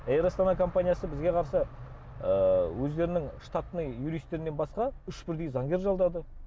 эйр астана компаниясы бізге қарсы ыыы өздерінің штатный юристтерінен басқа үш бірдей заңгер жалдады